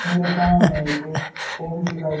मेरे सामने एक ऑफिस दिखाई--